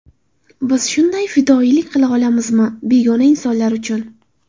Biz shunday fidoyilik qila olamizmi begona insonlar uchun?